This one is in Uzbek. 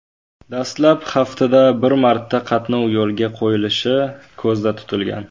Dastlab haftada bir marta qatnov yo‘lga qo‘yilishi ko‘zda tutilgan.